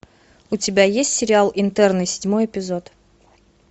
у тебя есть сериал интерны седьмой эпизод